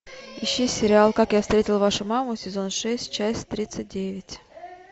ищи сериал как я встретил вашу маму сезон шесть часть тридцать девять